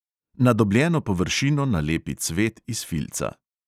Na dobljeno površino nalepi cvet iz filca.